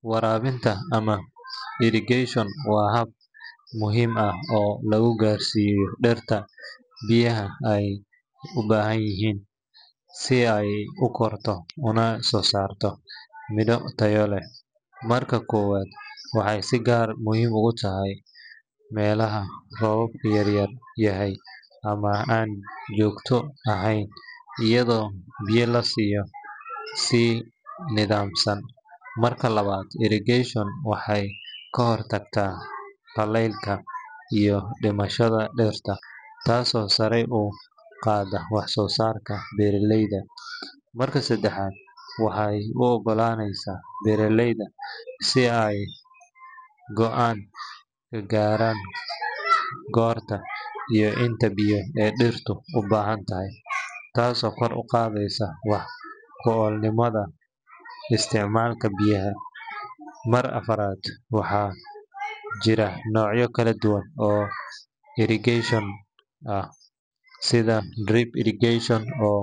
Waraabinta ama irrigation waa hab muhiim ah oo lagu gaarsiiyo dhirta biyaha ay u baahan tahay si ay u korto una soo saarto midho tayo leh. Marka koowaad, waxay si gaar ah muhiim ugu tahay meelaha roobka yar yahay ama aan joogto ahayn, iyadoo biyo la siiyo si nidaamsan. Marka labaad, irrigation waxay ka hortagtaa qallaylka iyo dhimashada dhirta, taasoo sare u qaadaysa wax-soo-saarka beeraleyda. Marka saddexaad, waxay u oggolaaneysaa beeraleyda in ay go’aan ka gaaraan goorta iyo inta biyo ee dhirtu u baahan tahay, taasoo kor u qaadaysa wax-ku-oolnimada isticmaalka biyaha. Marka afraad, waxaa jira noocyo kala duwan oo irrigation ah sida drip irrigation oo